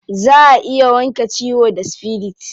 Za a iya wanke ciwo da spirit.